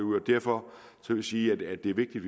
og derfor vil jeg sige at det er vigtigt